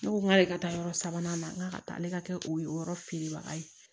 Ne ko n k'ale ka taa yɔrɔ sabanan na n k'a ka taa ale ka kɛ oye o yɔrɔ feerebaga ye